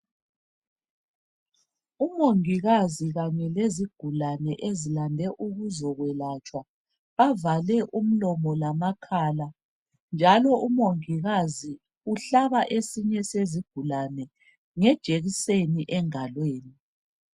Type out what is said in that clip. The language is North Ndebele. Umongikazi kanye lezigulane ezilande ukuzokwelatshwa bavale umlomo lamakhala njalo umongikazi uhlaba esinye sezigulane ngejekiseni engalweni.